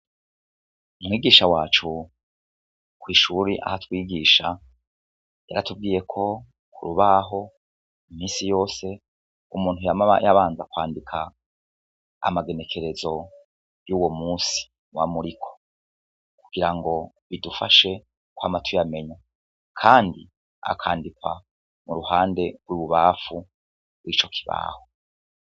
Umwigisha wacu kw'ishure aho atwigisha yaratubwiye ko ku rubaho imisi yose umuntu yama abanza kwandika amagenekerezo y'uwo musi muba muriko, kugira ngo bidufashe kwama tuyamenya, kandi akandikwa mu ruhande rw'ibubamfu rw'ico kibaho.